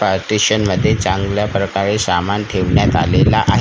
पार्टीशनमध्ये चांगल्या प्रकारे सामान ठेवण्यात आलेलं आहे.